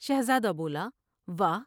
شہزادہ بولا واہ!